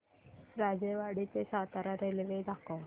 राजेवाडी ते सातारा रेल्वे दाखव